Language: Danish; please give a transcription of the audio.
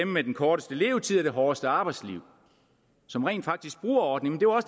med den korteste levetid og det hårdeste arbejdsliv som rent faktisk bruger ordningen og